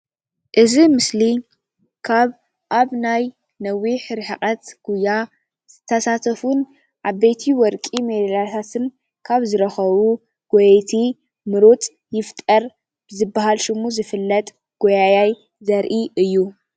እዚ ምስሊ ካብ ኣብ ናይ ነዊሕ ርሕቀት ጉያ ዝተሰተፉን ዓበይቲ ወርቂ ሜዳልያታት ካብ ዝርከቡ ጎየይቲን ምሩፅ ይፍጠር ዝበሃል ሽሙ ዝፍለጥ ጎያያይ ዘርኢእዩ።